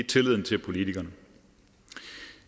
tilliden til politikerne